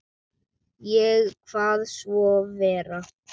Ég kvað svo vera.